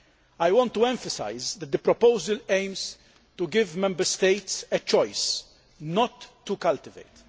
I want to emphasise that the proposal aims to give Member States a choice not to cultivate.